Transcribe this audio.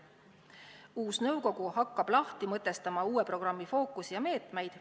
Uus nõukogu hakkab lahti mõtestama uue programmi fookust ja meetmeid.